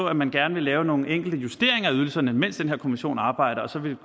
at man gerne vil lave nogle enkelte justeringer af ydelserne mens den her kommission arbejder og så